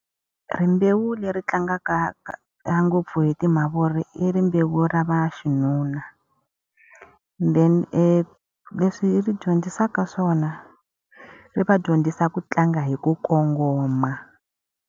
Rimbewu leri tlangaka ngopfu hi timavuri i rimbewu ra va xinuna. And then leswi ri dyondzisaka swona, ri va dyondzisa ku tlanga hi ku kongoma.